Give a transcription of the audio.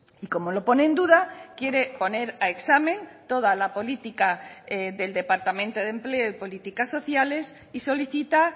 y como lo pone en duda quiere poner a examen toda la política del departamento de empleo y políticas sociales y solicita